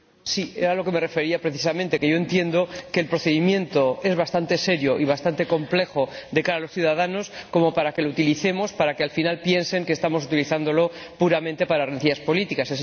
Sí, era a lo que me refería precisamente que yo entiendo que el procedimiento es lo bastante serio y lo bastante complejo de cara a los ciudadanos como para que lo utilicemos, o para que al final piensen que estamos utilizándolo, puramente para rencillas políticas.